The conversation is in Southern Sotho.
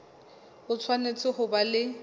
o tshwanetse ho ba le